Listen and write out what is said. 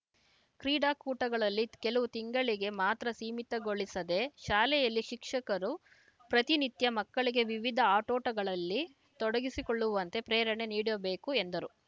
ಕ್ರೀಡಾಕೂಟಗಳಲ್ಲಿ ಕೆಲವು ತಿಂಗಳಿಗೆ ಮಾತ್ರ ಸೀಮಿತಗೊಳಿಸದೇ ಶಾಲೆಯಲ್ಲಿ ಶಿಕ್ಷಕರು ಪ್ರತಿನಿತ್ಯ ಮಕ್ಕಳಿಗೆ ವಿವಿಧ ಆಟೋಟಗಳಲ್ಲಿ ತೊಡಗಿಸಿಕೊಳ್ಳುವಂತೆ ಪ್ರೇರಣೆ ನೀಡಬೇಕು ಎಂದರು